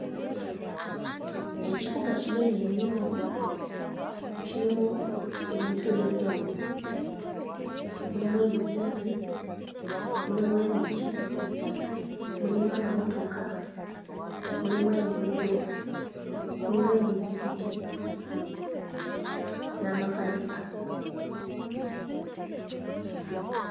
Ekibuga kinene nnyo kirimu ebintu eby'enjawulo; mulimu ebizimbe, mulimu emiti, mulimu amamotoka, mulimu enguudo, mulimu emizikiti n'amakanisa.